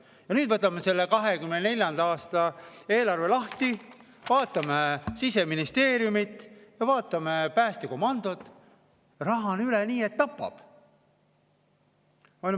Ja nüüd võtame selle 2024. aasta eelarve lahti, vaatame Siseministeeriumi ja vaatame päästekomandot: raha on üle nii et tapab.